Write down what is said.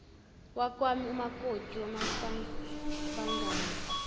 wakwami umakoti wamahlabangani